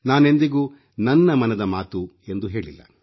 ನಾನೆಂದಿಗೂ ನನ್ನ ಮನದ ಮಾತು ಎಂದು ಹೇಳಿಲ್ಲ